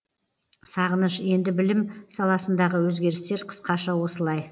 сағыныш енді білім саласындағы өзгерістер қысқаша осылай